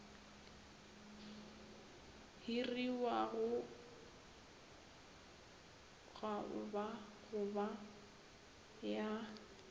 hiriwago gaoba go ba ya